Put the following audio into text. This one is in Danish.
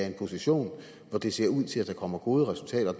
en position hvor det ser ud til at der kommer gode resultater og